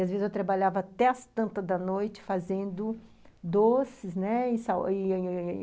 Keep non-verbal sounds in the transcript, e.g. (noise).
E, às vezes, eu trabalhava até as tantas da noite fazendo doces, né? e (unintelligible)